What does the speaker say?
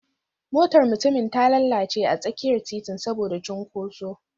Motar mutumin ta lalace a tsakiyar titin saboda cunkoso